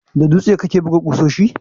Da dutse kake buga ƙusoshi?